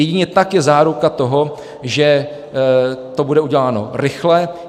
Jedině tak je záruka toho, že to bude uděláno rychle.